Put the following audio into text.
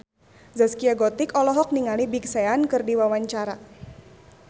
Zaskia Gotik olohok ningali Big Sean keur diwawancara